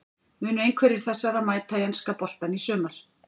Munu einhverjir þessara mæta í enska boltann í sumar?